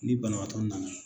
Ni banabaatɔ nana